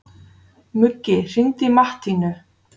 Muggi, hringdu í Mattínu.